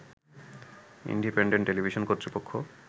independent television কর্তৃপক্ষ